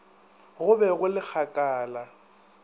go be go le kgakala